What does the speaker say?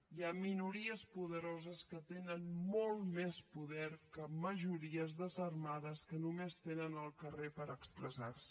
hi ha minories poderoses que tenen molt més poder que majories desarmades que només tenen el carrer per expressar se